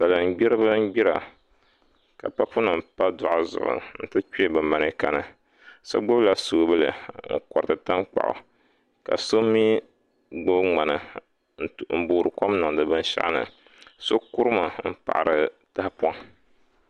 Salin gbiribi n gbira ka papu nim pa doɣu zuɣu n ti kpɛ bi mɛneeka ni so gbubila soobuli n koriti tankpaɣu ka so mii gbubi ŋmana n boori kom niŋdi binshaɣu ni sio kurimi n boori kom niŋdi tahapoŋ ni